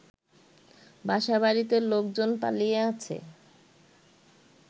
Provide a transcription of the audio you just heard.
বাসাবাড়িতে লোকজন পালিয়ে আছে